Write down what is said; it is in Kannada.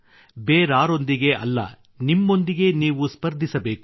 ಬೇರಾರೊಂದಿಗೆ ಅಲ್ಲದೆ ನಿಮ್ಮೊಂದಿಗೆ ನೀವು ಸ್ಪರ್ಧಿಸಬೇಕು